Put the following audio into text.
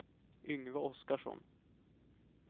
Yngve Oskarsson